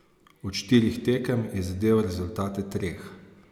Od štirih tekem je zadel rezultate treh.